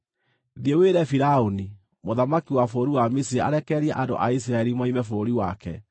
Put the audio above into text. “Thiĩ wĩre Firaũni, mũthamaki wa bũrũri wa Misiri arekererie andũ a Isiraeli moime bũrũri wake.”